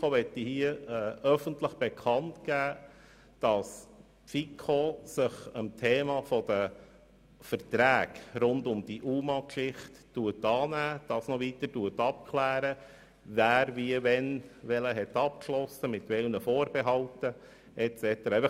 Als FiKo-Präsident möchte ich hier öffentlich bekannt geben, dass sich die FiKo dem Thema der Verträge rund um die UMA-Geschichte annimmt, und noch weiter abklärt, wer, wie, wann, welchen Vertrag mit welchen Vorbehalten und so weiter abgeschlossen hat.